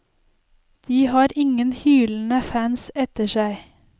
De har ingen hylende fans etter seg.